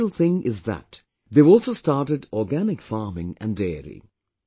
The special thing is that they have also started Organic Farming and Dairy